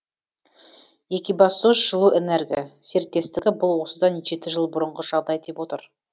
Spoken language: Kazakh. екибастұзжылуэнерго серіктестігі бұл осыдан жеті жыл бұрынғы жағдай деп отыр